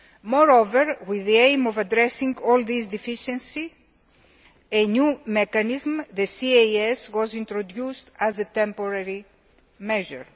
Moreover, with the aim of addressing all these deficiencies, a new mechanism, a trust account the CAS was introduced as a temporary measure.